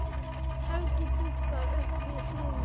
Helgi dúkkar upp við hlið mér.